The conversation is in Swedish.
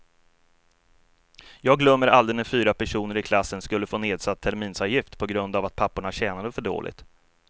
Jag glömmer aldrig när fyra personer i klassen skulle få nedsatt terminsavgift på grund av att papporna tjänade för dåligt.